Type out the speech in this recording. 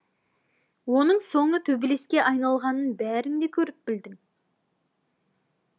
оның соңы төбелеске айналғанын бәрің де көріп білдің